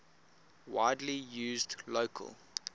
widely used local